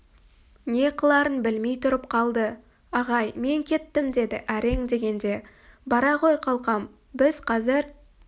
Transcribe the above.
не қыларын білмей тұрып қалды ағай мен кеттім деді әрең дегенде бара ғой қалқам біз қазір